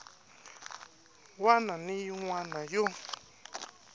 wana na yin wana yo